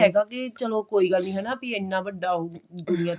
ਹੈਗਾ ਕੀ ਚਲੋ ਕੋਈ ਗੱਲ ਨਹੀਂ ਹਨਾ ਇੰਨਾ ਵੱਡਾ ਉਹ ਦੁਨੀਆ